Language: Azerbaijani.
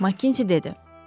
Makkinzi dedi.